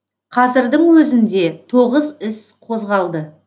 қазірдің өзінде тоғыз іс қозғалды